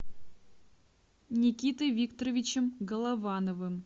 никитой викторовичем головановым